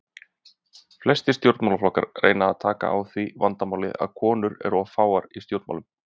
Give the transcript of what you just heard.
Flestir stjórnmálaflokkar reyna að taka á því vandamáli að konur eru of fáar í stjórnmálum.